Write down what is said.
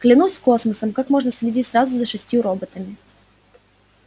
клянусь космосом как можно следить сразу за шестью роботами